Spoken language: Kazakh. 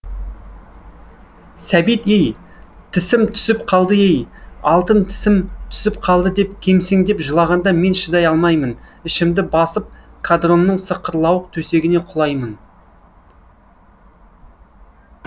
сәбит ей тісім түсіп қалды ей алтын тісім түсіп қалды деп кемсеңдеп жылағанда мен шыдай алмаймын ішімді басып қадронның сықырлауық төсегіне құлаймын